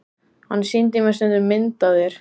Hann sýndi mér stundum mynd af þér.